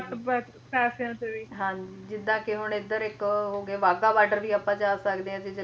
ਹਾਂਜੀ ਜਿਦਾਂ ਕੇ ਹੁਣ ਇਧਰ ਇੱਕ ਉਹ ਹੋਗੇ ਵਾਗਾ ਬਾਰਡਰ ਵੀ ਆਪਾ ਜਾ ਸਕਦੇ ਆ